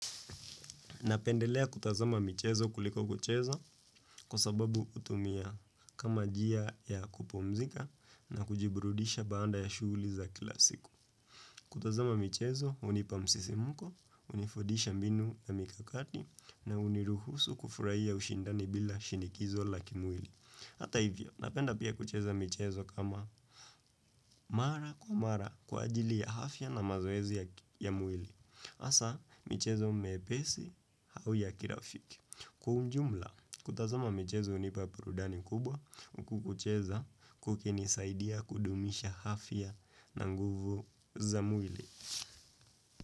Napendelea kutazama michezo kuliko kucheza kwa sababu hutumia kama njia ya kupumzika na kujiburudisha baada ya shughuli za kila siku. Kutazama michezo, hunipa msisimuko, hunifundisha mbinu na mikakati na huniruhusu kufurahia ushindani bila shinikizo la kimwili. Hata hivyo, napenda pia kucheza michezo kama, mara kwa mara kwa ajili ya afya na mazoezi ya mwili. Hasaa, michezo mepesi au ya kirafiki. Kwa ujumla, kutazama michezo hunipa burudani kubwa, huku kucheza, kukinisaidia kudumisha afya na nguvu za mwili.